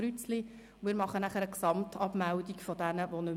Ich werde dann eine Gesamtabmeldung vornehmen.